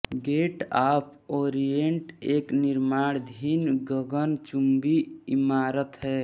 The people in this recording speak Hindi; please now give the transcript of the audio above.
गेट ऑफ ओरियेंट एक निर्माणाधीन गगनचुम्बी इमारत है